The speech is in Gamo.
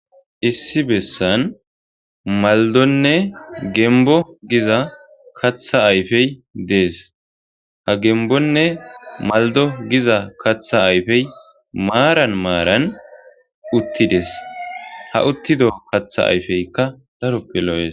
Issi besan maldonne gembo giza katha ayfe des ha gembonne maldo giza katha ayfe maran maran utides ha utido katha ayfeka darope lo'es.